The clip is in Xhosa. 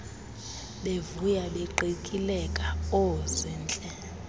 bevuya beqikileka oozintle